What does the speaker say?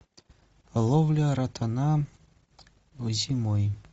ловля ротана зимой